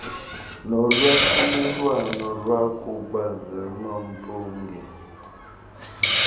nolwahlulelwano lwakuba ngamampunge